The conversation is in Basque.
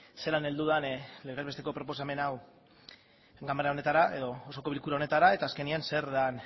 zelan heldu den legez besteko proposamen hau ganbara honetara edo osoko bilkura honetara eta azkenean zer den